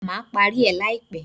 Má parí rẹ̀ láìpẹ́.